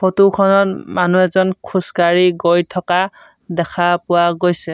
Photo খনত মানুহ এজন খোজকাঢ়ি গৈ থকা দেখা পোৱা গৈছে।